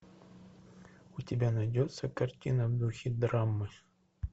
у тебя найдется картина в духе драмы